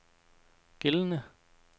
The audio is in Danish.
gældende